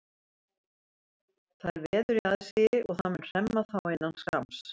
Það er veður í aðsigi og það mun hremma þá innan skamms.